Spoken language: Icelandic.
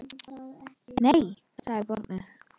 Nei, sagði barnið.